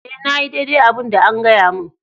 E,na yi daidai abun da an gaya mun.